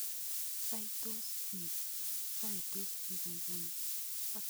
Saitos piik inguni